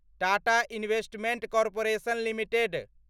Tata investment corporation limited